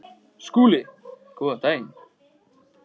SKÚLI: Góðan daginn!